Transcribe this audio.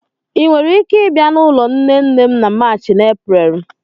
ị nwere ike ịbịa n'ụlọ nne nne m na March na Eprel?